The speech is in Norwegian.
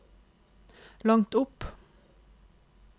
langt opp